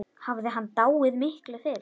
Hafði hann dáið miklu fyrr?